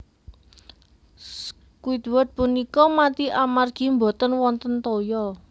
Squidward punika mati amargi boten wonten toya